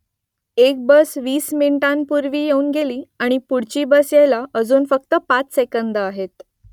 एक बस वीस मिनिटांपूर्वी येऊन गेली आणि पुढची बस यायला अजून फक्त पाच सेकंदं आहेत